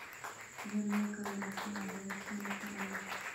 Sidee loo kala dhaxlaa bertanka cilaad?